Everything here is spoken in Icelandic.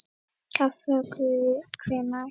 Kaffi Akureyri Hvenær?